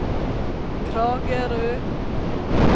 Kragerø